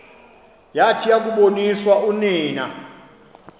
yathi yakuboniswa unina